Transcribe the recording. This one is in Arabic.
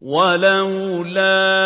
وَلَوْلَا